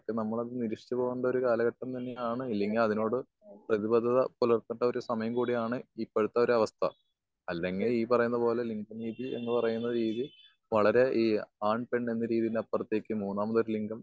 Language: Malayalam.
നമ്മളൊന്നു നിരീക്ഷിചാതോണ്ടൊരു കാലഘട്ടം തന്നെയാണ് അല്ലെങ്കി അതിനോട് പൃഥ്വിരുദ്ധ പുലർത്തേണ്ട സമയം കൂടിയാണ് ഇപ്പഴത്തെ അവസ്ഥ. അല്ലെങ്കി ഈ പറയുന്ന പോലെ ലിംഗ രീതി എന്ന് പറയുന്ന രീതി വളരെ ഈ ആൺ പെൺ എന്ന രീതിന്ന് അപ്പറത്തേക്ക് മൂന്നാമതൊരു ലിംഗം